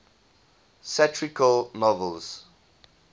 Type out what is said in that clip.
satirical novels